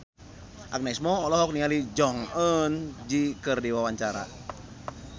Agnes Mo olohok ningali Jong Eun Ji keur diwawancara